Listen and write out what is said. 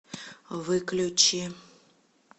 выключи